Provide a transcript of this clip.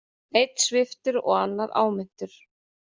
Einn sviptur og annar áminntur